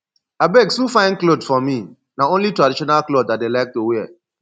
abeg sew fine cloth for me na only traditional cloth i dey like to wear